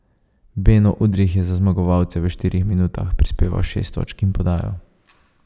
Beno Udrih je za zmagovalce v štirih minutah prispeval šest točk in podajo.